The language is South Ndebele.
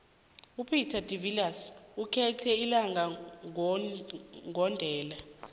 upeter de viliers ukhuthe ilinga gondelo